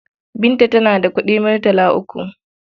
Binta tana da kuɗi murtala uku.